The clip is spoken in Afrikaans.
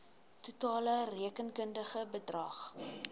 totale rekenkundige bedrag